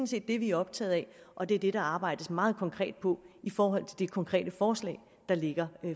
set det vi er optaget af og det er det der arbejdes meget konkret på i forhold til det konkrete forslag der ligger